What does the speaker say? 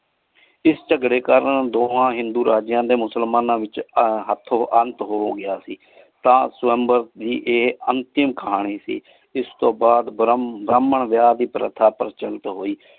ਇਸ ਝਗੜੇ ਕਾਰਨ ਦੋਹਾਂ ਹਿੰਦੂ ਰਾਜੇਯਾਂ ਤੇ ਮੁਸਲਮਾਨਾ ਵਿਚ ਹਾਥੋ ਅੰਤ ਹੋ ਗਯਾ ਸੀ ਤਾ ਸੁਆਮ੍ਬੇਰ ਦੇ ਅੰਤਿਮ ਕਹਾਨੀ ਦੇ ਇਸ ਤੂ ਬਾਦ ਭਾਹ੍ਮਾਂ ਵਿਯਾਹ ਦੇ ਪਰਥ ਹੋਇ।